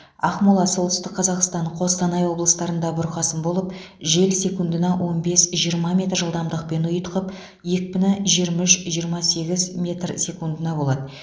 ақмола солтүстік қазақстан қостанай облыстарында бұрқасын болып жел секундына он бес жиырма метр жылдамдықпен ұйытқып екпіні жиырма үш жиырма сегіз метр секундына болады